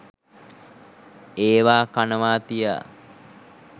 ඒවා කනවා තියා